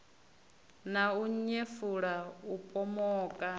na u nyefula u pomoka